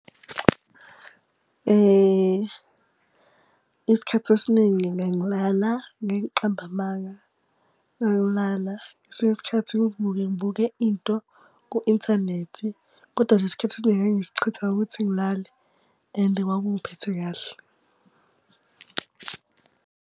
Isikhathi esiningi ngangilala, ngeke ngiqambe amanga. Ngangilala ngesinye isikhathi ngivuke ngibuke into ku-inthanethi, kodwa nje isikhathi esiningi ngangisichitha ngokuthi ngilale. And kwakungiphethe kahle.